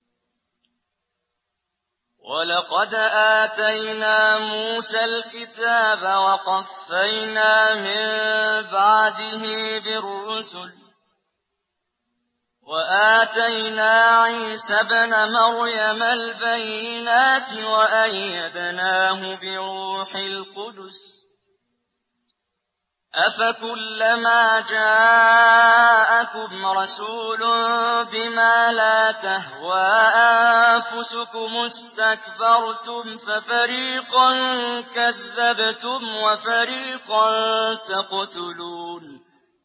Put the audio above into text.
وَلَقَدْ آتَيْنَا مُوسَى الْكِتَابَ وَقَفَّيْنَا مِن بَعْدِهِ بِالرُّسُلِ ۖ وَآتَيْنَا عِيسَى ابْنَ مَرْيَمَ الْبَيِّنَاتِ وَأَيَّدْنَاهُ بِرُوحِ الْقُدُسِ ۗ أَفَكُلَّمَا جَاءَكُمْ رَسُولٌ بِمَا لَا تَهْوَىٰ أَنفُسُكُمُ اسْتَكْبَرْتُمْ فَفَرِيقًا كَذَّبْتُمْ وَفَرِيقًا تَقْتُلُونَ